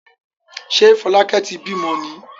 Ṣé Fọlákẹ́ ti bímọ ni?